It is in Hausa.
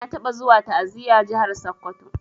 Na taba zuwa ta'aziya jahar sokoto.